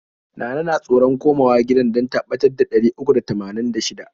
Nana na tsoron koma wa gidan dan ta ɓatar da ɗari uku da tamanin da shida.